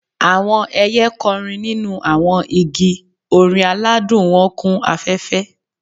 Awọn ẹiyẹ kọrin ninu awọn igi, orin aladun wọn kun afẹfẹ.